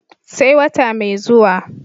sai wata mai zuwa